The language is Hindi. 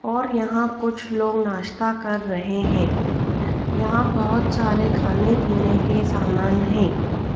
और यहाँ कुछ लोग नाश्ता कर रहे है यहाँ बहोत सारे खाने पीने के सामान हैं।